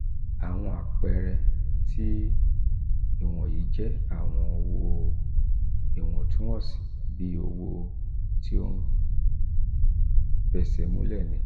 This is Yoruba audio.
awọn apẹẹrẹ ti iwọnyi jẹ awọn owo iwọntunwọnsi bii owo ti o fesemule ni allco.